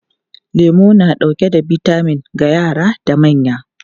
Lemu na dauke da bitamin ga yara da manya.